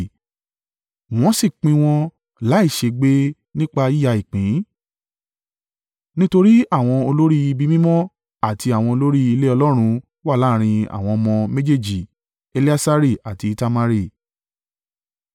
Wọ́n sì pín wọn láìṣègbè nípa yíya ìpín, nítorí àwọn olórí ibi mímọ́ àti àwọn olórí ilé Ọlọ́run wà láàrín àwọn ọmọ méjèèjì Eleasari àti Itamari.